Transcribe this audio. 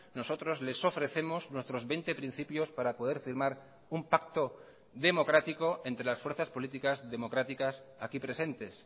nosotros les ofrecemos nuestros veinte principios para poder firmar un pacto democrático entre las fuerzas políticas democráticas aquí presentes